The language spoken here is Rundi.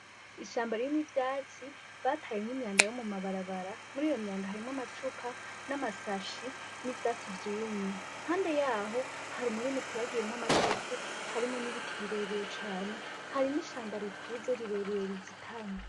Ishamba ririmwo ivyatsi batayemwo imyanda yo mu mabarabara. Muriyo myanda harimwo amacupa, namasashe, n'ivyatsi vyumye. Impande y'aho hari umurima uteragiyemwo amateke, harimwo n'ibiti birebire cane. Hari n'ishamba rikuze rirerire rizitanye.